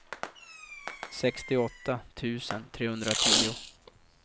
sextioåtta tusen trehundratio